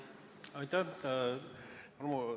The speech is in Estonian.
Aitäh!